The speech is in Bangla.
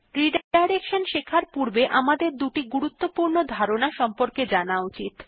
রিডাইরেকশন শেখার পূর্বে আমাদের দুটি গুরুত্বপূর্ণ ধারণা সম্পর্কে জানা উচিত